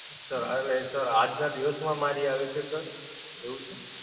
Sir એટલે આજ નાં દિવસ માં મારી આવી છે Sir? એવું છે?